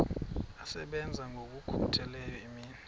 asebenza ngokokhutheleyo imini